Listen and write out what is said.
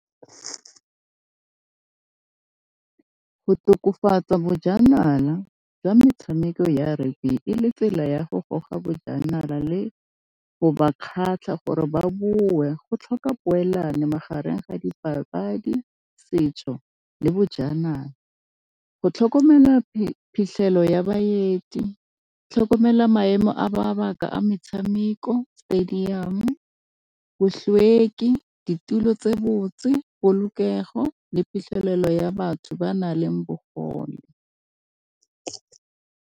Go tokafatsa bojanala jwa metshameko ya e le tsela ya go goga bojanala le go ba kgatlha gore ba boe go tlhoka poelano magareng ga dipapadi, setso le bojanala go tlhokomela phitlhelo ya baeti, tlhokomela maemo a mabaka a metshameko, stadium-o, , ditulo tse botse polokego le phitlhelelo ya batho ba na leng bogole.